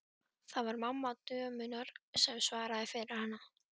Það var mamma dömunnar sem svaraði fyrir hana.